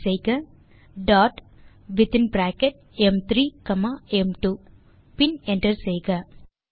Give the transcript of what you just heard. type செய்க dot within bracket ம்3 comma ம்2 பின் என்டர் செய்க